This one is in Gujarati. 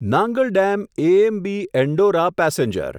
Nangal dam AMB Andaura passenger